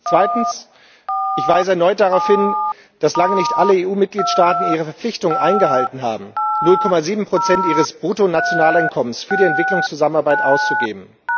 Zweitens Ich weise erneut darauf hin, dass lange nicht alle EU Mitgliedstaaten ihre Verpflichtung eingehalten haben, 0,7 ihres Bruttonationaleinkommens für die Entwicklungszusammenarbeit auszugeben.